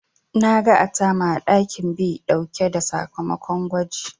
Na ga Atama a ɗakin Ba ɗauke da sakamakon gwajin.